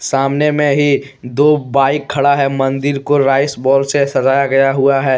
सामने में ही दो बाइक खड़ा है मंदिर को राइस बॉल से सजाया गया हुआ है।